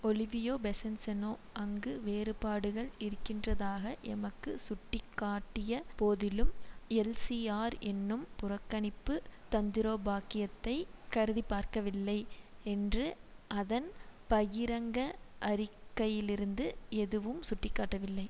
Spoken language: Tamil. ஒலிவியே பெசன்சநோ அங்கு வேறுபாடுகள் இருக்கின்றதாக எமக்கு சுட்டி காட்டிய போதிலும் எல்சிஆர் என்றும் புறக்கணிப்பு தந்திரோபாக்கியத்தை கருதிப்பார்க்கவில்லை என்று அதன் பகிரங்க அறிக்கையிலிருந்து எதுவும் சுட்டிக்காட்டவில்லை